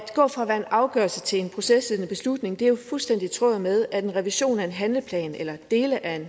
gå fra at være en afgørelse til en procesledende beslutning er jo fuldstændig i tråd med at en revision af en handleplan eller dele af en